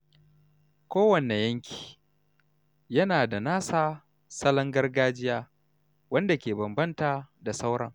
Kowane yanki yana da nasa salon gargajiya wanda ke bambanta da sauran.